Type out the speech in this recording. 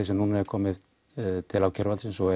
sem núna er komið til ákæruvaldsins og